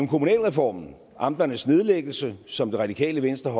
kommunalreformen amternes nedlæggelse som det radikale venstre og